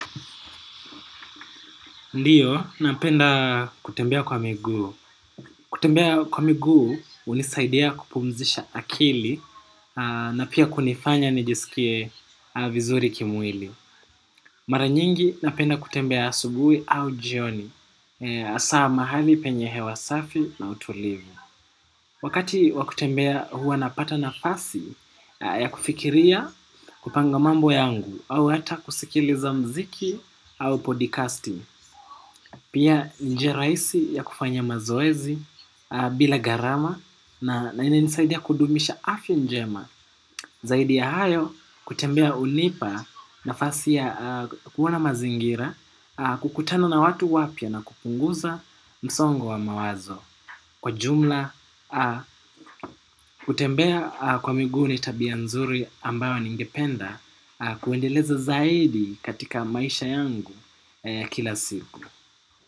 Ndiyo, napenda kutembea kwa miguu. Kutembea kwa miguu, hunisaidia kupumzisha akili, na pia kunifanya nijisikie vizuri kimwili. Mara nyingi, napenda kutembea asubuhi au jioni, hasa mahali penye hewa safi na utulivu. Wakati wa kutembea huwa napata nafasi, ya kufikiria kupanga mambo yangu, au hata kusikiliza muziki au podcasting. Pia njia rahisi ya kufanya mazoezi bila gharama na inanisaidia kudumisha afya njema. Zaidi ya hayo kutembea hunipa nafasi ya kuona mazingira kukutana na watu wapya na kupunguza msongo wa mawazo. Kwa jumla kutembea kwa miguu ni tabia nzuri ambayo ningependa kuendeleza zaidi katika maisha yangu kila siku.